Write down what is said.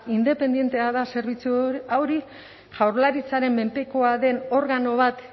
independentea da zerbitzu hori jaurlaritzaren menpekoa den organo bat